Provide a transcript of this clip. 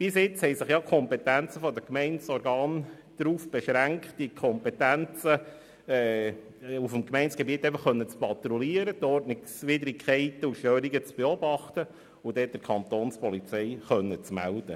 Bisher beschränkten sich die Kompetenzen der Gemeindeorgane darauf, auf dem Gemeindegebiet zu patrouillieren sowie Ordnungswidrigkeiten zu beobachten und der Kapo zu melden.